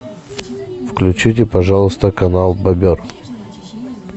включите пожалуйста канал бобер